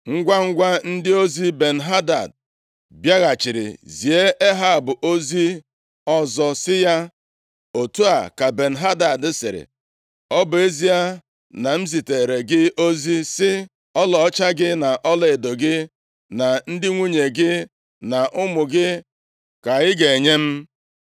Ngwangwa ndị ozi Ben-Hadad bịaghachiri zie Ehab ozi ọzọ sị ya, “Otu a ka Ben-Hadad sịrị, ‘Ọ bụ ezie na m ziteere gị ozi, sị, ọlaọcha gị na ọlaedo gị na ndị nwunye gị na ụmụ gị ka ị ga-enye m.